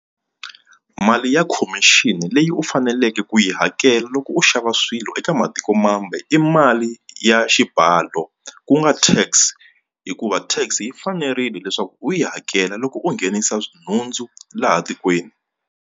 Mali ya khomixini leyi u faneleke ku yi hakela loko u xava swilo eka matikomambe i mali ya xibalo ku nga Tax hikuva tax yi fanerile leswaku u yi hakela loko u nghenisa nhundzu laha tikweni.